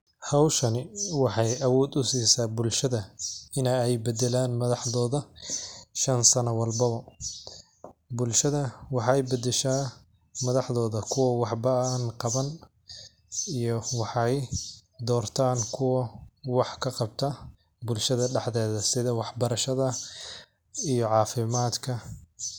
Howshan waxay abod usisa bulshada ina ay badalan madhaxdodha shan sano o walbawa bulshada waxay badasha madhaxdoda kuwa waxba an qabanin iyo waxay dortan kuwa wax kaqabta bulshada daxdodha sidha wax barashada iyo cafimatka.